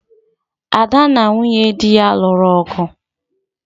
Ada na nwunye di ya lụrụ ọgu